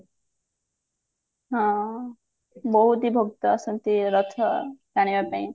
ହଁ ବହୁତ ହିଁ ଭକ୍ତ ଆସନ୍ତି ରଥ ଟାଣିବା ପାଇଁ